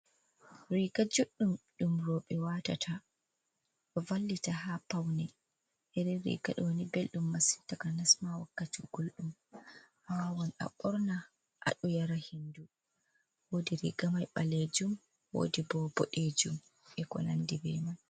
Riga juɗɗum ɗum roɓe watata ɗo vallita ha paune, irin riga ɗoni beldum masin takanasma wakkati guldum, awawan a ɓorna aɗo yara hendu wodi riga mai balejum wodi ɓo boɗejum e ko nandi be mai.